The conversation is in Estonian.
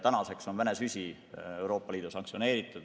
Tänaseks on Vene süsi Euroopa Liidus sanktsioneeritud.